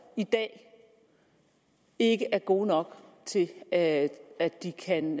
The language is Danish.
i dag ikke er gode nok til at at de kan